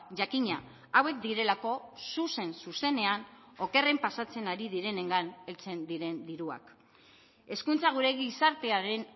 jakina hauek direlako zuzen zuzenean okerren pasatzen ari direnengan heltzen diren diruak hezkuntza gure gizartearen